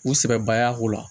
U sɛbɛbayako la